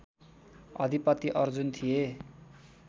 अधिपति अर्जुन थिए